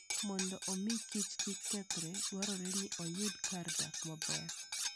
Mondo omi kich kik kethre, dwarore ni oyud kar dak maber.